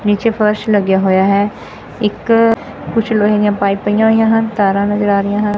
ਨੀਚੇ ਫਰਸ਼ ਲੱਗਿਆ ਹੋਇਆ ਹੈ ਇੱਕ ਕੁਝ ਲੋਹੇ ਦੀਆਂ ਪਾਈਪ ਪਈਆਂ ਹੋਈਆਂ ਹਨ ਤਾਰਾਂ ਨਜ਼ਰ ਆ ਰਹੀਆਂ ਹਨ।